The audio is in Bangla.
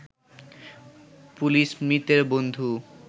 পুলিশ মৃতের বন্ধু